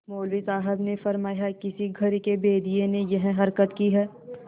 मौलवी साहब ने फरमाया किसी घर के भेदिये ने यह हरकत की है